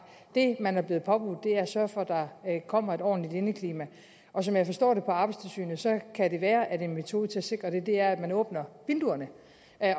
det man er blevet påbudt er at sørge for at der kommer et ordentligt indeklima og som jeg forstår arbejdstilsynet kan det være at en metode til at sikre det er at man åbner vinduerne